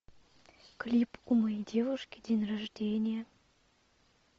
клип у моей девушки день рождения